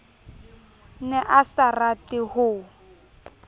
ne a sa rate ho